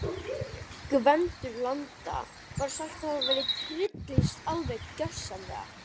Gvendur landa var sagður hafa tryllst alveg gjörsamlega.